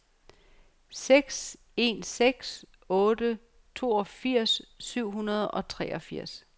seks en seks otte toogfirs syv hundrede og treogfirs